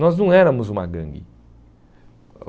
Nós não éramos uma gangue.